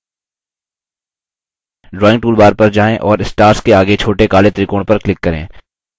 drawing toolbar पर जाएँ और stars के go छोटे काले त्रिकोण पर click करें